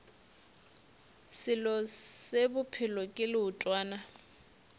selo se bophelo ke leotwana